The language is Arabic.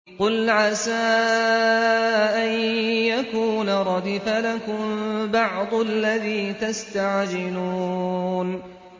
قُلْ عَسَىٰ أَن يَكُونَ رَدِفَ لَكُم بَعْضُ الَّذِي تَسْتَعْجِلُونَ